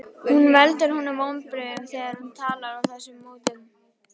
Hún veldur honum vonbrigðum þegar hún talar á þessum nótum.